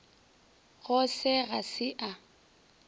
go se ga se a